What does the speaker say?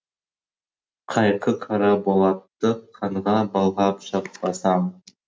қайқы қара болатты қанға былғап шықпасам